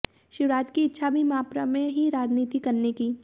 शिवराज की इच्छा अभी मप्र में ही राजनीति करने की